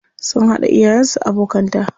Sun haɗa iyayen su abokanta.